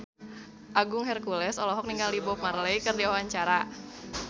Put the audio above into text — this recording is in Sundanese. Agung Hercules olohok ningali Bob Marley keur diwawancara